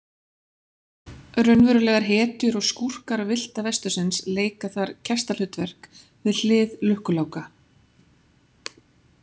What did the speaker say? Raunverulegar hetjur og skúrkar villta vestursins leika þar gestahlutverk við hlið Lukku Láka.